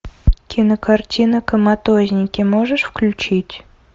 кинокартина коматозники можешь включить